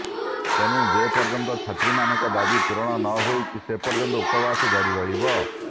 ତେଣୁ ଯେପର୍ଯ୍ୟନ୍ତ ଛାତ୍ରୀମାନଙ୍କ ଦାବି ପୁରଣ ନହୋଇଛି ସେପର୍ଯ୍ୟନ୍ତ ଉପବାସ ଜାରି ରହିବ